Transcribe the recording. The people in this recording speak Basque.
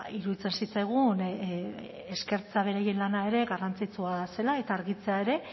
iruditzen zitzaigun eskertzea berain lana ere garrantzitsua zela eta argitzea ere